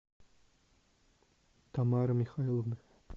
тамары михайловны